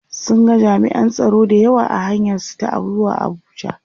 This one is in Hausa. sun ga jami'an tsaro da yawa a hanyar su ta zuwa Abuja